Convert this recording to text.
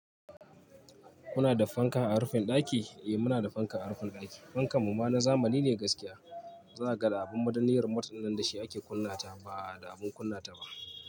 Muna da fanka a rufin ɗaki? Eh muna da fanka a rufin ɗaki. Fankan mu ma na zamani ne gaskiya. Za ka ga da abin madan niyar matsin nan da shi ake kunnata ba da abin kunnata ba.